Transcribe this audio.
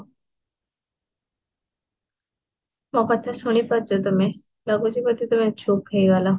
ମୋର କଥା ଶୁଣି ପାରୁଛ କି ତମେ, ଲାଗୁଚି ବଢେ ତମେ ଚୁପ ହେଇଗଲ